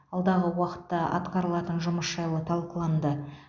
алдағы уақытта атқарылатын жұмыс жайлы талқыланды